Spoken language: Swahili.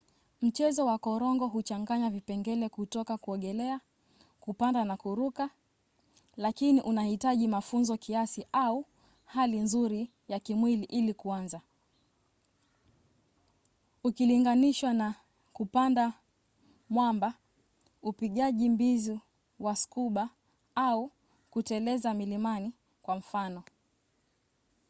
mchezo wa korongo huchanganya vipengele kutoka kuogelea kupanda na kuruka--lakini unahitaji mafunzo kiasi au hali nzuri ya kimwili ili kuanza ukilinganishwa na kupanda mwamba upigaji mbizi wa scuba au kuteleza milimani kwa mfano